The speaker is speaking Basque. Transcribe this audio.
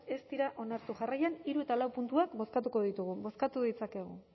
ez dira onartu jarraian hiru eta lau puntuak bozkatuko ditugu bozkatu ditzakegu